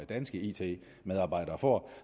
danske it medarbejdere får